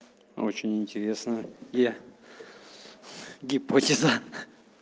очень интересно я гипотеза